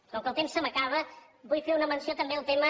com que el temps se m’acaba vull fer una menció també del tema